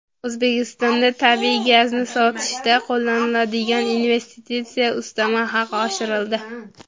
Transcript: O‘zbekistonda tabiiy gazni sotishda qo‘llaniladigan investitsiya ustama haqi oshirildi.